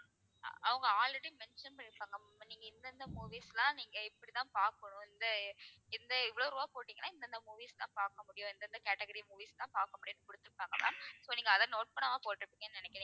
அஹ் அவங்க already mention பண்ணிருப்பாங்க ma'am நீங்க இந்தெந்த movies எல்லாம் நீங்க இப்படித்தான் பார்க்கணும். இந்த, இந்த இவ்ளோ ரூபாய் போட்டீங்கன்னா இந்தெந்த movies தான் பார்க்க முடியும். இந்தெந்த category movies தான் பார்க்க முடியும்னு கொடுத்திருப்பாங்க ma'am so நீங்க அதை note பண்ணாம போட்டிருப்பீங்கன்னு நினைக்கிறேன்.